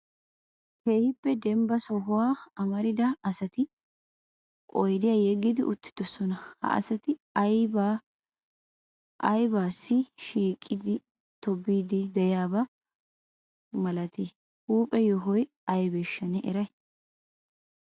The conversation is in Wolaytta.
keehippe dembba sohuwa amarida asati oyidiya yegidi uttisoona. ha asati ubbay issi shiiqidi tobbiidi de'iyaa huuphe yohoy aybbeshsha neeni siyaadi?